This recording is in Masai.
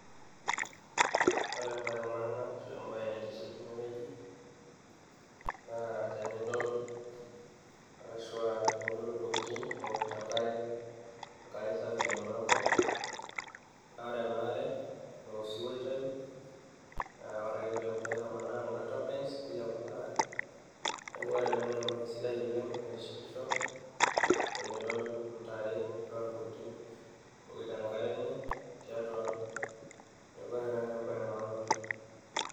ore embaye e maana ashua embaye naitiship tenewueji naa tenidol arashua tenidol intokitin ewokito enkare, enkare safi naing'ua enkop naa ore ena are naa osiwuo oitayu naa ore ake piitamanaa kuna turbines nilepu ina are neeku ore ena naa embaye sidai oleng naitishipisho tenidol intare ashua intokitin ewokito enkare enye tiatua ang neeku ore ena naa embaye e maana oleng.